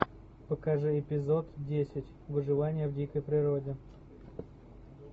покажи эпизод десять выживание в дикой природе